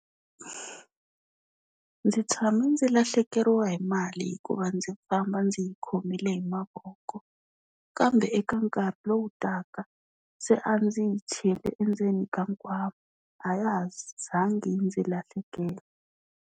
Ndzi tshame ndzi lahlekeriwa hi mali hikuva ndzi famba ndzi yi khomile hi mavoko, kambe eka nkarhi lowu taka se a ndzi yi chele endzeni ka nkwama a ya ha zangi yi ndzi lahlekela.